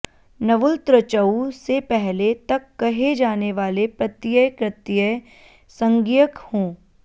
ण्वुलतृचौ से पहले तक कहे जाने वाले प्रत्यय कृत्य संज्ञक हों